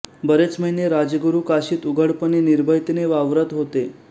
बरेच महिने राजगुरू काशीत उघडपणे निर्भयतेने वावरत होते